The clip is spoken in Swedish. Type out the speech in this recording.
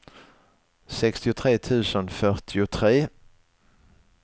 sextiotre tusen fyrtiotre